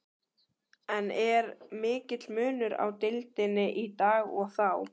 En er mikill munur á deildinni í dag og þá?